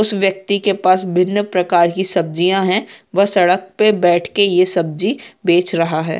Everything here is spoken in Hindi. उस व्यक्ति के पास भिन्न प्रकार के की सब्जियाँ हैं वो सड़क पे बैठ के ये सब्जी बेच रहा है।